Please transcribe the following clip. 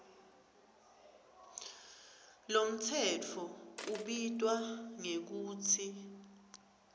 lomtsetfo ubitwa ngekutsi